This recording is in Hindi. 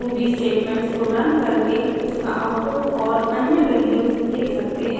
आप ruby स्टेटमेंट्स को रन करके उसका आउटपुट और अन्य वेल्यूस देख सकते हैं